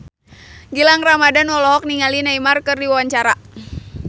Gilang Ramadan olohok ningali Neymar keur diwawancara